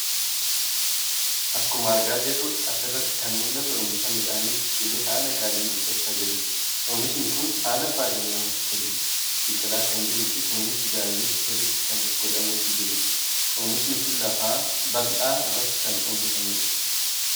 Akkuma argaa jirru asirratti kan mul'atu oomisha Midhaanii biqilee haala gaariin guddachaa jiruuti. Oomishni kun haala baay'ee namatti toluun biqilaa kan jiruufi kunuunsi gaariinis sirriitti kan godhamaafi jiruudha. Oomishni kun lafa bal'aa irratti kan inni oomishame.